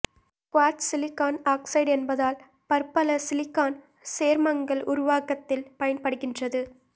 quartz silicon oxide என்பதால் பற்பல silicon சேர்மங்கள் உருவாக்கத்தில் பயன்படுகின்றது